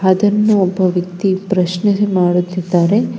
ಅದನ್ನು ಒಬ್ಬ ವ್ಯಕ್ತಿ ಪ್ರಶ್ನೆ ಮಾಡುತ್ತಿದ್ದಾರೆ.